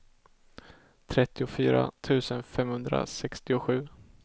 trettiofyra tusen femhundrasextiosju